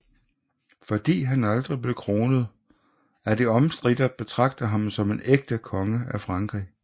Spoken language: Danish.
Fordi han aldrig blev kronet er det omstridt at betragte ham som en ægte konge af Frankrig